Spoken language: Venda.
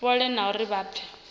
fhole na uri vha pfe